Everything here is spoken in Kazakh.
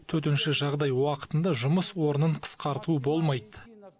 төтенше жағдай уақытында жұмыс орнын қысқарту болмайды